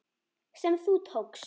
sem þú tókst.